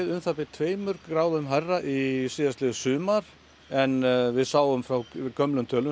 um það bil tveimur gráðum hærra síðastliðið sumar en við sáum frá gömlum tölum